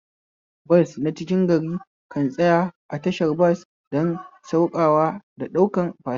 Bas na cikin gari kan tsaya a tashar bas don saukawa da ɗaukan fasinja